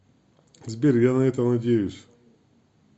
сбер я на это надеюсь